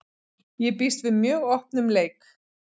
Ég býst við mjög opnum leik.